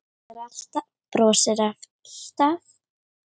Brostir alltaf.